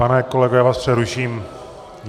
Pane kolego, já vás přeruším.